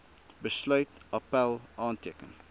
besluit appèl aanteken